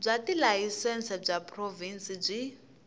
bya tilayisense bya provhinsi byi